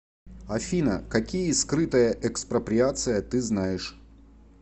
афина какие скрытая экспроприация ты знаешь